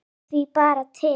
Ég hlakka því bara til.